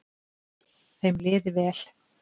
Þeim liði vel.